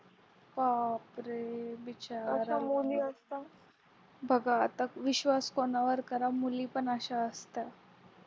बापरे बिचारा मुलगा बघा आता विश्वास कोणावर करा मुली पण अशा असतात